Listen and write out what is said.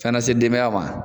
Ka na se denbaya ma.